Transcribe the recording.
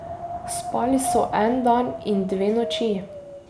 Spali so en dan in dve noči.